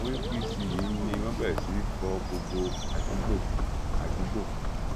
àwọn apc yìí ni wọn bẹrẹ sí í fọ gbogbo àdúgbò àdúgbò